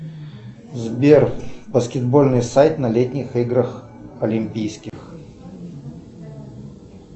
сбер баскетбольный сайт на летних играх олимпийских